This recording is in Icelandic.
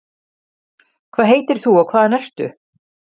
hvað heitir þú og hvaðan ertu?